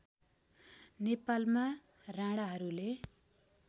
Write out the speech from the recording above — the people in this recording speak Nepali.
नेपालमा राणाहरूले